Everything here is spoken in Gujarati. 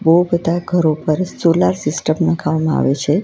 બોવ બધા ઘરો પર સોલાર સિસ્ટમ લગાવામાં આવે છે.